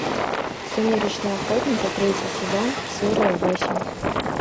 сумеречные охотники третий сезон серия восемь